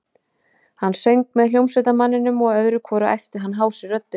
Hann söng með hljómsveitarmanninum og öðru hvoru æpti hann hásri röddu